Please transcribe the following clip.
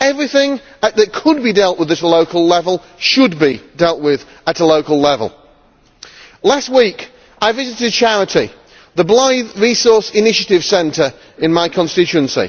Everything that could be dealt with at a local level should be dealt with at a local level. Last week I visited a charity, the Blyth Resource Initiative Centre, in my constituency.